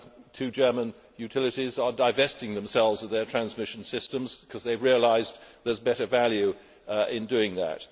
Two German utilities are divesting themselves of their transmission systems because they have realised there is better value in doing that.